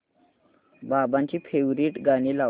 बाबांची फेवरिट गाणी लाव